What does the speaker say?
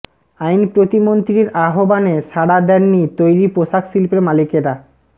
আইন প্রতিমন্ত্রীর আহবানে সাড়া দেননি তৈরি পোষাক শিল্পের মালিকেরা